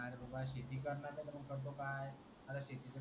R शेतीच तू काय